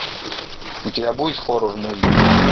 у тебя будет хоррор муви